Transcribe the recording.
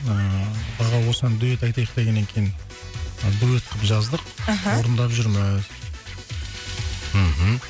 ыыы аға осыған дуэт айтайық дегеннен кейін ы дуэт қылып жаздық аха орындап жүрміз мхм